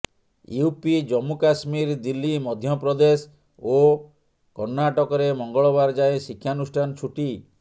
UP Jammu Kashmir Delhi Madhya Pradesh ଓ କର୍ଣ୍ଣାଟକରେ ମଙ୍ଗଳବାର ଯାଏଁ ଶିକ୍ଷାନୁଷ୍ଠାନ ଛୁଟି